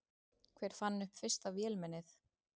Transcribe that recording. Hver fann upp fyrsta vélmennið?